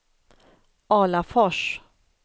Alafors